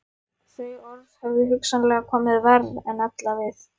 Þau orð höfðu hugsanlega komið verr en ella við